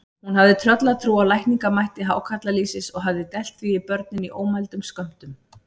Hún hafði tröllatrú á lækningamætti hákarlalýsis og hafði dælt því í börnin í ómældum skömmtum.